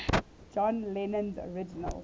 john lennon's original